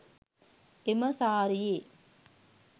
එම සාරියේ